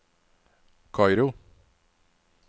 Kairo